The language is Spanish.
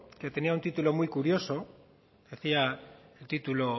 que tenía un título muy curioso decía el título